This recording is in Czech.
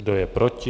Kdo je proti?